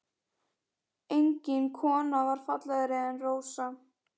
Engin kona var fallegri en Rósa.